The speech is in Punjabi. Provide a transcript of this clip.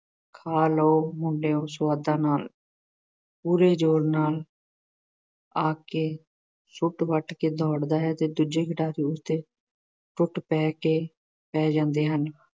ਖਾ ਲਓ ਮੁੰਡਿਓ ਸੁਆਦਾਂ ਨਾਲ ਪੂਰੇ ਜ਼ੋਰ ਨਾਲ ਆਖ ਕੇ ਸ਼ੂਟ ਵੱਟ ਕੇ ਦੌੜਦਾ ਹੈ। ਦੂਜੇ ਖਿਡਾਰੀ ਉਸ ਤੇ ਟੁੱਟ ਪੈ ਕੇ ਪੈ ਜਾਂਦੇ ਹਨ